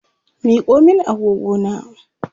Miko min agogona!